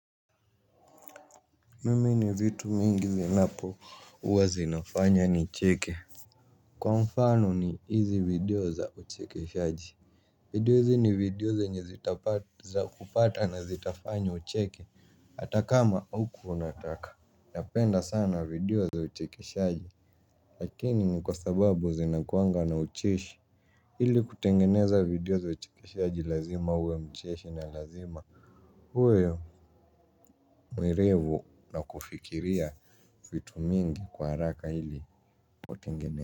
Mimi ni vitu mingi zinapo uwa zinafanya nicheke. Kwa mfano ni hizi video za uchekeshaji. Video hizi ni video zenye zitapata zakupata na zitafanya ucheke. Hata kama haukuwa unataka. Napenda sana video za uchekeshaji. Lakini ni kwa sababu zinakuanga na ucheshi ili kutengeneza video za uchekeshaji lazima uwe mcheshi na lazima uwe mwerevu na kufikiria vitu mingi kwa haraka ili kutengeneza.